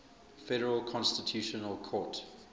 federal constitutional court